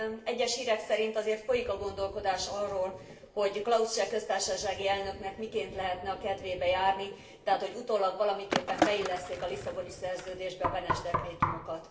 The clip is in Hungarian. Egyes hírek szerint azért folyik a gondolkodás arról, hogy Klaus cseh köztársasági elnöknek miként lehetne a kedvében járni, tehát, hogy utólag valamiképpen beillesszék a Lisszaboni Szerződésbe a Beneš dekrétumokat.